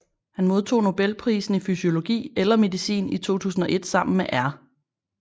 Han modtog Nobelprisen i fysiologi eller medicin i 2001 sammen med R